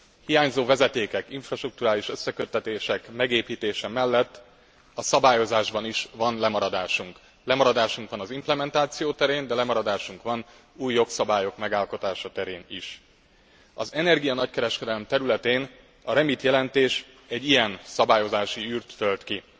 Hiányzó vezetékek, infrastrukturális összeköttetések megépítése mellett a szabályozásban is van lemaradásunk. Lemaradásunk van az implementáció terén, de lemaradásunk van új jogszabályok megalkotása terén is. Az energia nagykereskedelem területén a REMIT jelentés egy ilyen szabályozási űrt tölt ki.